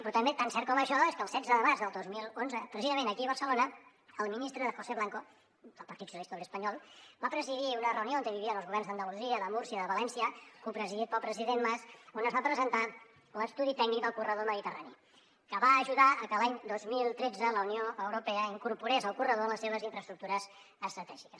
però també tan cert com això és que el setze de març del dos mil onze precisament aquí a barcelona el ministre josé blanco del partit socialista obrer espanyol va presidir una reunió on hi havien els governs d’andalusia de múrcia de valència copresidit pel president mas on es va presentar l’estudi tècnic del corredor mediterrani que va ajudar a que l’any dos mil tretze la unió europea incorporés el corredor en les seves infraestructures estratègiques